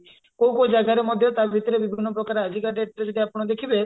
କଉ କଉ ଜାଗାରେ ମଧ୍ୟ ତା ଭିତରେ ବିଭିନ୍ନ ପ୍ରକାର ଆଜିକା dateରେ ଯଦି ଆପଣ ଦେଖିବେ